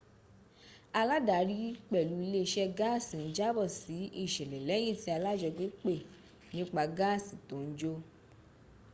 aládarí pẹ̀lú iléeṣẹ́ gáàsì ń jábọ̀ sí ìṣẹ̀lẹ̀ lẹ́yìn tí alájọgbé pè nípa gáàsì tó ń jò